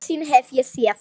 Eina sýn hef ég séð.